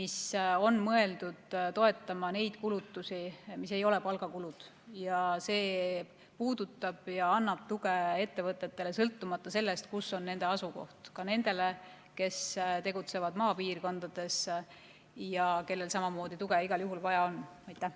See on mõeldud toetama neid kulutusi, mis ei ole palgakulud, ja see puudutab ja annab tuge ettevõtetele, sõltumata sellest, kus on nende asukoht, ka nendele, kes tegutsevad maapiirkondades ja kellel samamoodi on igal juhul tuge vaja.